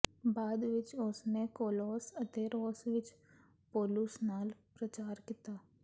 ਬਾਅਦ ਵਿਚ ਉਸ ਨੇ ਕੋਲੋਸ ਅਤੇ ਰੋਮ ਵਿਚ ਪੌਲੁਸ ਨਾਲ ਪ੍ਰਚਾਰ ਕੀਤਾ